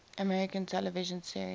american television series